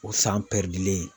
O san pɛridilen ye